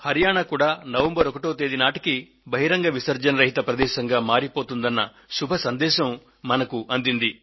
హరియాణా కూడా నవంబర్ 1వ తేదీ నాటికి బహిరంగ విసర్జన రహిత ప్రదేశంగా మారిపోతుందన్న శుభ సందేశం మనకు అందింది